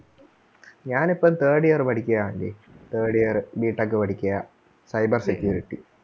ഞാൻ ഇപ്പം third year പഠിക്കയാ aunty thrid yearBtech പഠിക്കയാ cyber security